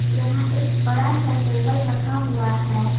यहां एक बड़ा सा टेबल रखा हुआ है।